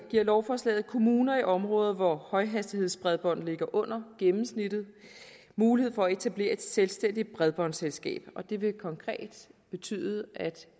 giver lovforslaget kommuner i områder hvor højhastighedsbredbånd ligger under gennemsnittet mulighed for at etablere et selvstændigt bredbåndsselskab og det vil konkret betyde at